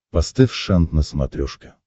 поставь шант на смотрешке